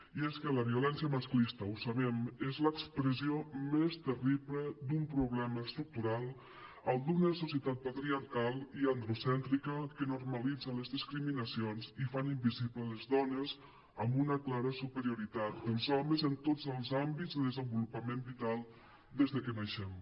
i és que la violència masclista ho sabem és l’expressió més terrible d’un problema estructural el d’una societat patriarcal i androcèntrica que normalitza les discriminacions i fa invisible les dones amb una clara superioritat dels homes en tots els àmbits de desenvolupament vital des que naixem